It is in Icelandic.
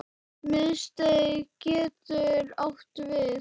Miðstig getur átt við